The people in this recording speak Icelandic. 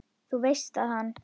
Þú veist að hann.